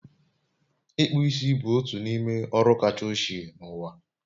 Ịkpụ isi bụ otu n'ime ọrụ kacha ochie n'ụwa